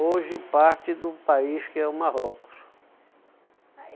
Hoje parte do país que é o Marrocos.